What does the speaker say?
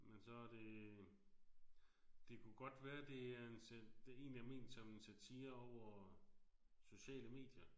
Men så er det. Det kunne godt være det er en det egentlig er ment som en satire over sociale medier